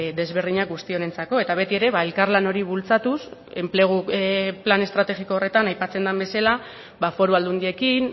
desberdinak guzti honentzako eta beti ere elkarlan hori bultzatuz enplegu plan estrategiko horretan aipatzen den bezala foru aldundiekin